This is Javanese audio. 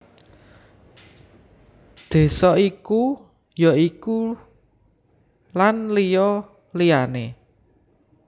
Désa iku ya iku Lan liya liyané